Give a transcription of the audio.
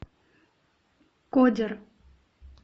кодер